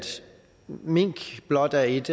mink blot er et